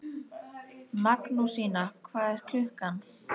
Magnúsína, hvað er klukkan?